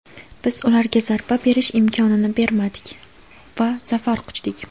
Biz ularga zarba berish imkonini bermadik va zafar quchdik.